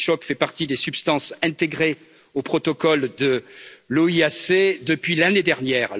Le Novitchok fait partie des substances intégrées au protocole de l'OIAC depuis l'année dernière.